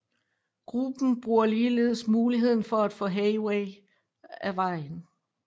Gruppen bruger ligeledes muligheden for at få Haywire af vejen